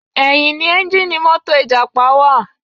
Ẹ̀yìn ni ẹ́ńjíìnnì mọ́tò ìjàpá wà.